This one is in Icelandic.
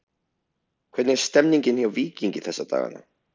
Hvernig er stemningin hjá Víkingi þessa dagana?